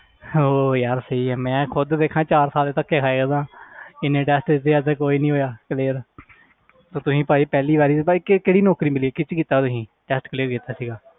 ਹੋਰ ਯਾਰ ਸਹੀ ਆ ਮੈਂ ਖੁੱਦ ਦੇਖਾਂ ਚਾਰ ਸਾਲ ਧੱਕੇ ਖਾਏ ਆ ਇੰਨੇ test ਦਿੱਤੇ ਆ ਅੱਜ ਤੱਕ ਕੋਈ ਨੀ ਹੋਇਆ clear ਤੇ ਤੁਸੀਂ ਭਾਈ ਪਹਿਲੀ ਵਾਰੀ ਤੇ ਭਾਈ ਕ~ ਕਿਹੜੀ ਨੌਕਰੀ ਮਿਲੀ ਹੈ ਕਿਹਦੇ 'ਚ ਕੀਤਾ ਤੁਸੀਂ test clear ਕੀਤਾ ਸੀਗਾ